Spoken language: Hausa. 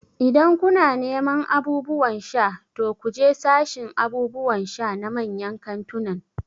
Idan kuna neman abubuwan sha, to ku je sashin abubuwan sha na manyan kantunan